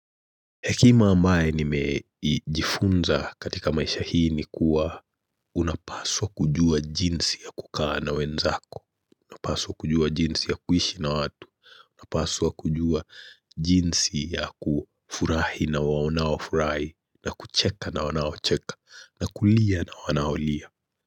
Hekima ambaye nimejifunza katika maisha hii ni kuwa unapaswa kujua jinsi ya kukaa na wenzako, unapaswa kujua jinsi ya kuishi na watu, unapaswa kujua jinsi ya kufurahi na waonaofurai, na kucheka na wanaocheka, na kulia na wanaolia.